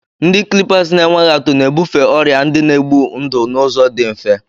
Ndị clippers na-enweghị atụ na-ebufe ọrịa ndị na-egbu ndụ n'ụzọ dị mfe.